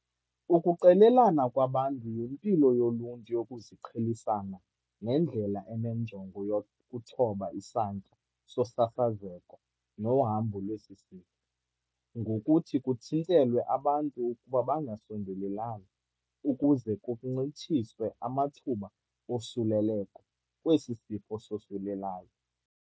Ukuqelelana kwabantu yimpilo yoluntu yokuziqhelisana nendlela enenjongo yokuthoba isantya sosasazeko nohambo lwesi sifo, ngokuthi kuthintelwe abantu ukuba bangasondelelani ukuze kuncitshiswe amathuba osulelekho lwesi sifo sosulelayo.